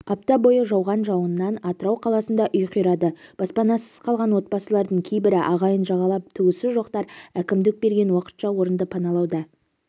апта бойы жауған жауыннан атырау қаласында үй қирады баспанасыз қалған отбасылардың кейбірі ағайын жағалап туысы жоқтар әкімдік берген уақытша орынды паналуада